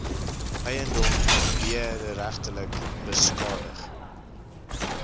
eiendom wederregtelik beskadig